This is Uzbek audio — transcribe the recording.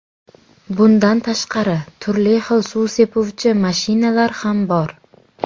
Bundan tashqari, turli xil suv sepuvchi mashinalar ham bor.